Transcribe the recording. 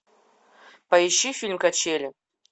поищи фильм качели